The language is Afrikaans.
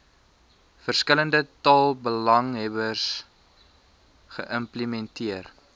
verskillende taalbelanghebbers geïmplementeer